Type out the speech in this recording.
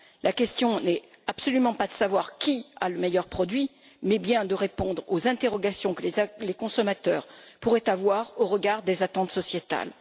La question n'est absolument pas de savoir qui a le meilleur produit mais bien de répondre aux interrogations que les consommateurs pourraient avoir au regard des attentes sociétales.